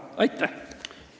Aitäh!